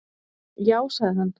Já, sagði hann.